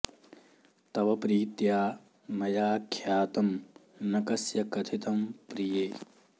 तव प्रीत्या मया ख्यातं न कस्य कथितं प्रिये